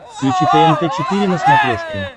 включи тнт четыре на смотрешке